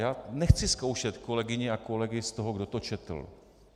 Já nechci zkoušet kolegyně a kolegy z toho, kdo to četl.